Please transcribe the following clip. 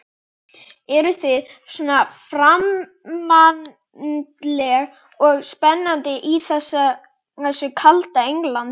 Eruð þið svona framandleg og spennandi í þessu kalda Englandi?